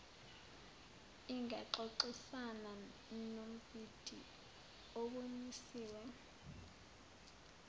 ingaxoxisana nombhidi obonisiwe